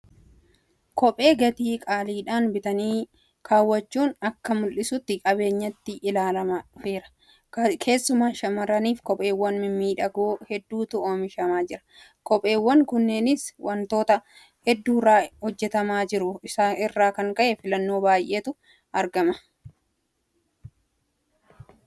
Kophee gatii qaaliidhaan bitanii keewwachuun akka mul'istuu qabeenyaatti ilaalamaa dhufeera. Keessumaa shaamarraniif Kopheewwan mimmiidhagoo hedduutu oomishamaa jira. Kopheewwan kunneenis waantota hedduurraa hojjetamaa jiraachuu isaa irraa kan ka'e filannoo baay'eetu argama. Kophee maal irraa hojjetamutu baay'ee filatamaadha?